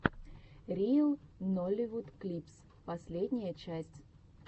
риэл нолливуд клипс последняя часть